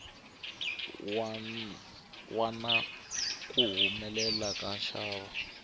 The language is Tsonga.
wa na kuhumule ka nxavo